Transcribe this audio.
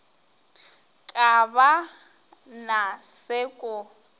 ka ba na se ko